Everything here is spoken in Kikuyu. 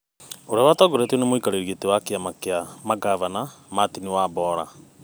Ũrĩa watongoretio nĩ mũikarĩri gĩtĩ wa kĩama kĩa mangavana, Martin Wambora.